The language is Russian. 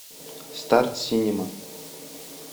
старт синема